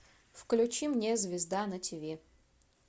включи мне звезда на тв